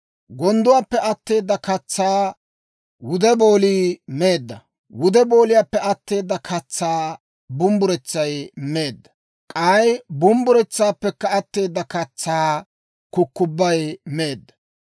Gondduwaappe atteeda katsaa wude boolii meedda; wude booliyaappe atteeda katsaa bumbburetsay meedda; k'ay bumbburetsaappekka atteeda katsaa kukubbay meedda.